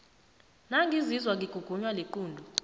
nangizizwa ngigugunwa liqunto